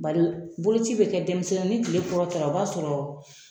Bari boloci bɛ kɛ denmisɛnnin ni tile kɔrɔtala o b'a sɔrɔ